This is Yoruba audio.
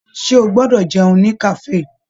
Ṣe o gbọdọ jẹun ní kafe?